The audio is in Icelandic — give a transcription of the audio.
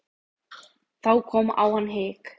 Þá kom á hann hik.